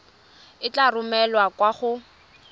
e tla romelwa kwa go